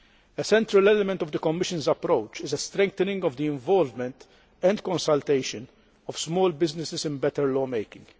A central element of the Commission's approach is a strengthening of the involvement and consultation of small businesses in better law making.